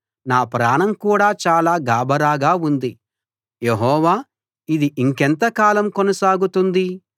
నా ప్రాణం కూడా చాలా గాభరాగా ఉంది యెహోవా ఇది ఇంకెంత కాలం కొనసాగుతుంది